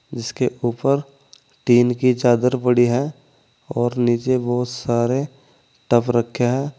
जिसके ऊपर टीन की चादर पड़ी है और नीचे बहुत सारे टब रखे हैं।